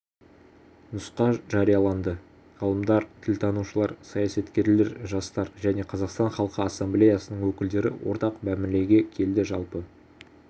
нұсқа жарияланды ғалымдар тілтанушылар саясаткерлер жастар және қазақстан халқы ассамблеясының өкілдері ортақ мәмілеге келді жалпы